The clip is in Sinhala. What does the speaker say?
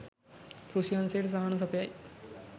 කෘෂි අංශයට සහන සපයයි.